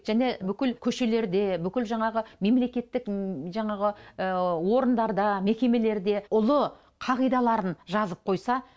және бүкіл көшелерде бүкіл жаңағы мемлекеттік жаңағы орындарда мекемелерде ұлы қағидаларын жазып қойса